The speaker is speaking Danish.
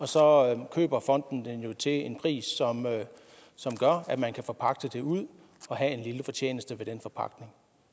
så køber fonden jo landbruget til en pris som gør at man kan forpagte det ud og have en lille fortjeneste ved den forpagtning